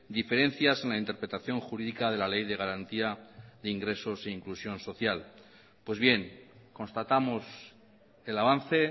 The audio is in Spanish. diferencias en la interpretación jurídica de la ley de garantía de ingresos e inclusión social pues bien constatamos el avance